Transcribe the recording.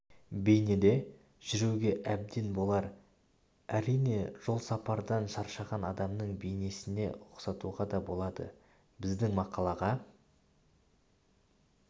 бейнеде жүруге әбден болар әрине жол сапардан шаршаған адамның бейнесіне ұқсатуға да болады біздің мақалаға